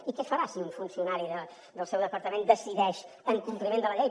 i què fa rà si un funcionari del seu departament decideix en compliment de la llei